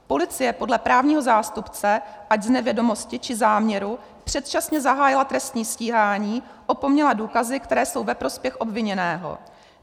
Policie podle právního zástupce, ať z nevědomosti, či záměru, předčasně zahájila trestní stíhání, opomněla důkazy, které jsou ve prospěch obviněného.